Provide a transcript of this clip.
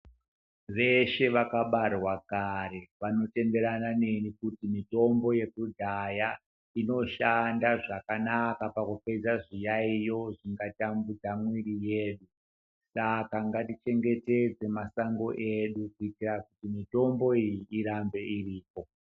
Veshe vakabarwa kare vanotenderana neni kuti mitombo yekudhaya inoshanda zvakanaka pakupedza zviyaiyo zvingatitambudza mumiviri medu, saka ngatichengetedze masango edu kuitira kuti mitombo iyi irambe iriko.